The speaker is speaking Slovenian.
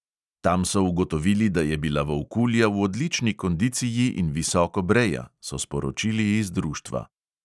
Tam so ugotovili, da je bila volkulja v odlični kondiciji in visoko breja, so sporočili iz društva.